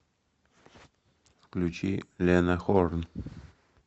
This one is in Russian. включи лена хорн